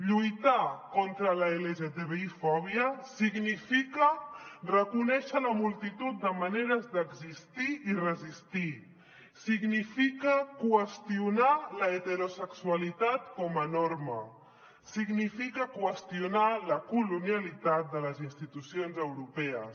lluitar contra l’lgtbi fòbia significa reconèixer la multitud de maneres d’existir i resistir significa qüestionar l’heterosexualitat com a norma significa qüestionar la colonialitat de les institucions europees